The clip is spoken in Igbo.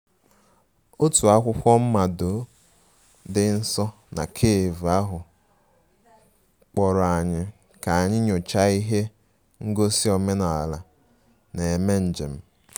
Otu akwụkwọ mmado dị nso na cafe ahụ kpọrọ anyị ka anyị nyochaa ihe ngosi omenala na-eme njem